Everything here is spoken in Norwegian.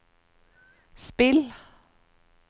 spill